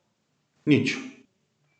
Nič.